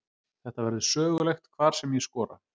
Þetta verður sögulegt hvar sem ég skora.